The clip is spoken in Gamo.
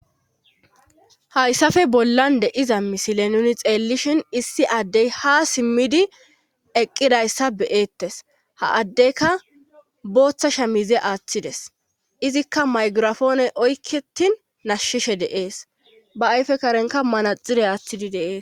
hayssafe bollan de7iza misile nuni xeellishin issi addey ha simmidi eqqidayssa beeettes ha addeyka booththasha mize aaththides izikka maygirafooney oykketin nashshishe deees ba ayfe karenka manaxire aaththidi deees